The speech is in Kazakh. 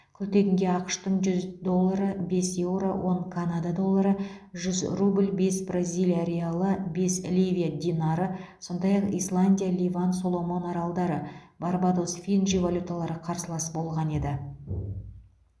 күлтегінге ақш тың жүз доллары бес еуро он канада доллары жүз рубль бес бразилия реалы бес ливия динары сондай ақ исландия ливан соломон аралдары барбадос фиджи валюталары қарсылас болған еді